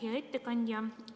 Hea ettekandja!